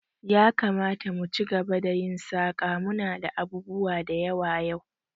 Yakamata mu ci gaba da yin saƙa, munada abubuwa da yawa yau